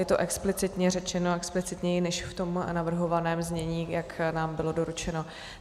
Je to explicitně řečeno, explicitněji než v tom navrhovaném znění, jak nám bylo doručeno.